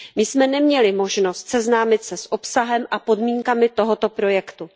My jsme neměli možnost seznámit se s obsahem a podmínkami tohoto projektu.